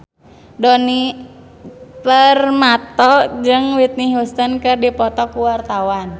Djoni Permato jeung Whitney Houston keur dipoto ku wartawan